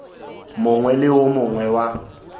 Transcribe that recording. mongwe le wo mongwe wa